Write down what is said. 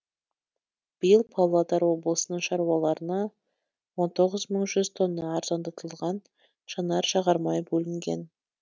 биыл павлодар облысының шаруаларына он тоғыз мың жүз тонна арзандатылған жанар жағармай бөлінген